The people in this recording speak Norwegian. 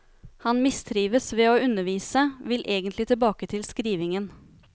Han mistrives ved å undervise, vil egentlig tilbake til skrivningen.